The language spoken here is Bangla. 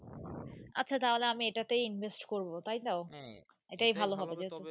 আচ্ছা তাহলে আমি এটাতেই Invest কোবো তাই তো হ্যাঁ এটাই ভালো হবে